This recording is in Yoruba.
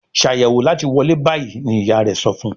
Ṣàyẹ̀wò láti wọlé bayí! ní ìyá rẹ sọfún.